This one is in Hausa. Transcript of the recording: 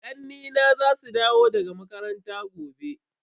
Ƙannena za su dawo daga makaranta gobe.